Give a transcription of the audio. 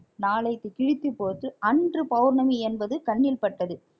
நாளைக்கு கிழித்துப் போட்டு அன்று பௌர்ணமி என்பது கண்ணில் பட்டது